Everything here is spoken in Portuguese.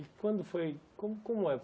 E quando foi... como como é?